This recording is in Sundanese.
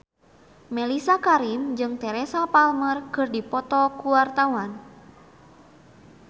Mellisa Karim jeung Teresa Palmer keur dipoto ku wartawan